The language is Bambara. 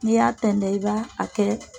N'i y'a tɛntɛn i ba a kɛ